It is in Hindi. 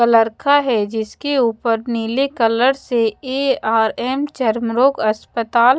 कलर का है जिसके ऊपर नीले कलर से ए_आर_एम चर्म रोग अस्पताल--